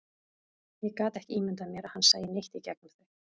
Ég gat ekki ímyndað mér að hann sæi neitt í gegnum þau.